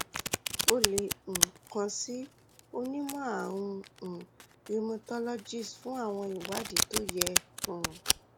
o lè um kàn sí onímọ̀ àrùn um rheumatologist fún àwọn ìwádìí tó yẹ um